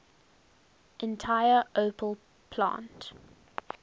entire opel plant